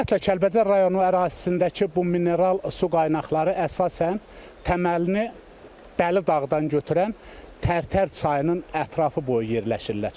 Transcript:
Ümumiyyətlə Kəlbəcər rayonu ərazisindəki bu mineral su qaynaqları əsasən təməlini dəli dağdan götürən Tərtər çayının ətrafı boyu yerləşirlər.